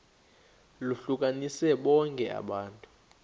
lohlukanise bonke abantu